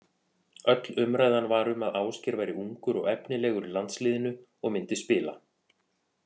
Öll umræðan var um að Ásgeir væri ungur og efnilegur í landsliðinu og myndi spila.